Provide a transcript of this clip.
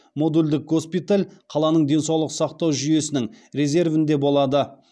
модульдік госпиталь қаланың денсаулық сақтау жүйесінің резервінде болады